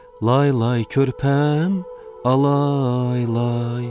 Lay lay körpəm, alay lay.